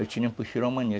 Eu tinha amanhã.